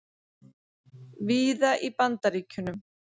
víða í Bandaríkjunum.